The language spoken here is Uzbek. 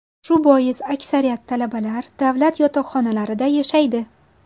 Shu bois aksariyat talabalar davlat yotoqxonalarida yashaydi.